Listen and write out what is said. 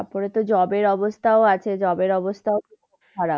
তারপরে তো job এর অবস্থাও আছে। job এর অবস্থাও খুব খারাপ।